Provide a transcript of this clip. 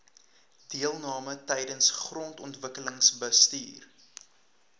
deelname tydens grondontwikkelingsbestuur